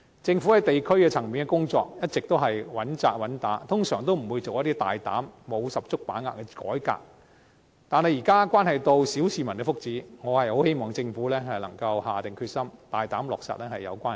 政府在地區層面的工作一直穩扎穩打，通常不會作出一些大膽、沒有十足把握的改革，但現在涉及小市民的福祉，我很希望政府能夠下定決心，大膽落實有關建議。